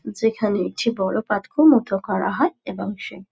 যেখানে একটি বড়ো পাতকুয়ো মতো করা হয় এবং সে--